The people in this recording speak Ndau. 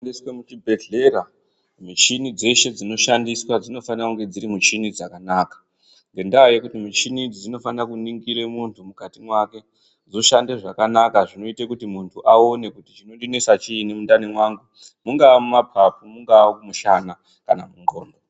Uchisvike kuzvibhedhlera michini dzeshe dzinoshandiswa dzinofanira kunge dziri michini dzakanaka, ngendaa yekuti mishini idzi dzinofanire kuningire muntu mwukati mwake dzoshande zvakanaka, zvinoite kuti muntu aone kuti chinonesa chii mundani mwangu mungaa mumapapu, mungaa mumushana.